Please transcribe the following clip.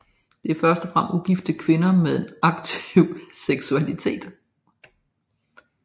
Det var først og fremmest ugifte kvinder med en aktiv seksualitet